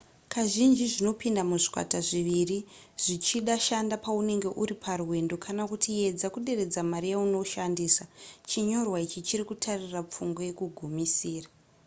kazhinji zvinopinda muzvikwata zviviri zvichida shanda paunenge uri parwendo kana kuti edza kuderedza mari yaunoshandisa chinyorwa ichi chiri kutarira pfungwa yekugumisira